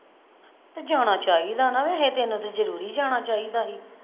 ਤੇ ਜਾਣਾ ਚਾਹੀਦਾ ਨਾ ਵੈਸੇ ਤੈਨੂੰ ਤੇ ਜਰੂਰੀ ਜਾਣਾ ਚਾਹੀਦਾ ਸੀ।